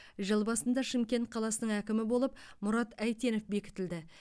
жыл басында шымкент қаласының әкімі болып мұрат әйтенов бекітілді